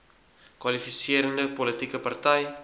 kwalifiserende politieke party